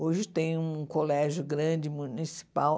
Hoje tem um colégio grande, municipal.